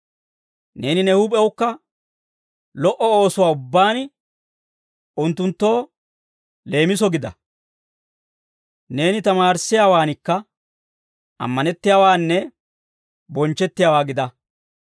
Neeni ne huup'ewukka lo"o oosuwaa ubbaan unttunttoo leemiso gida; neeni tamaarissiyaawankka ammanettiyaawaanne bonchchettiyaawaa gida.